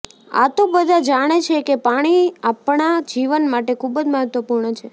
આ તો બધા જાણે છેકે પાણી આપણા જીવન માટે ખૂબ જ મહત્વપુર્ણ છે